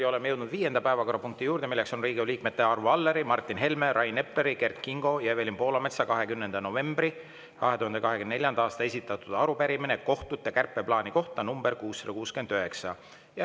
Ja oleme jõudnud viienda päevakorrapunkti juurde, milleks on Riigikogu liikmete Arvo Alleri, Martin Helme, Rain Epleri, Kert Kingo ja Evelin Poolametsa 20. novembril 2024. aastal esitatud arupärimine kohtute kärpeplaani kohta, nr 669.